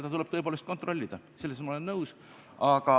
Seda tuleb tõepoolest kontrollida, sellega olen ma nõus.